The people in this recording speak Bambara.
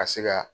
Ka se ka